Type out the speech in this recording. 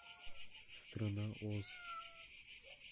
страна оз